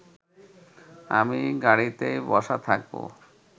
আমি গাড়িতেই বসা থাকব